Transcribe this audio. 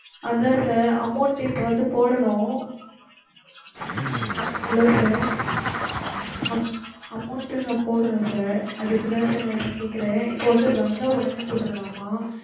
அதான் sir amount டு இப்ப வந்து போடணும் hello sir அம் amount நான் போடணும் sir. அதுக்கு தான் sir நான் இப்ப கேக்குறேன் இப்போ வந்து வந்த உடனே போட்டுடலாமா?